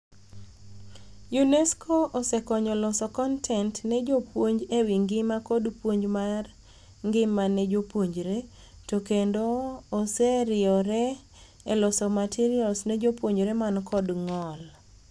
UNESCO osekonyo loso kontent ne jopuonj ewii ngima kod puonj mar ngima ne jopuonjre to kendo oseriore e loso materials ne jopuonjre man kod ng'ol.